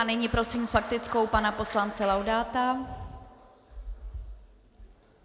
A nyní prosím s faktickou pana poslance Laudáta.